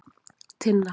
Tinna